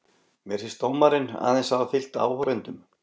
Mér finnst dómarinn aðeins hafa fylgt áhorfendum.